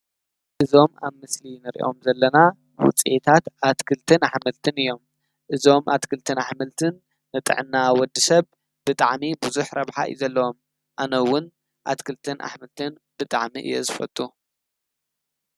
እዞም ኣብ ምስሊ ንሪኦም ዘለና ውፅኢታት ኣትክልትን ኣሕምልትን እዮም። እዞም ኣትክልትን ኣሕምልትን ንጥዕና ወዲ ሰብ ብጣዕሚ ቡዙሕ ረብሓ እዩ ዘለዎም። ኣነ ውን ኣትክልትን ኣሕምልትን ብጣዕሚ እየ ዝፈቱ።